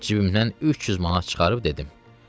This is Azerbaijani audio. Cibimdən 300 manat çıxarıb dedim: